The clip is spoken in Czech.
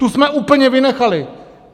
Tu jsme úplně vynechali.